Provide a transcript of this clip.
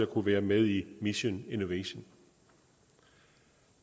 kunne være med i mission innovation